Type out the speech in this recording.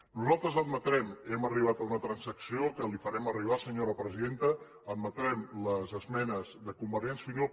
nosaltres admetrem hem arribat a una transacció que li farem arribar senyora presidenta les esmenes de convergència i unió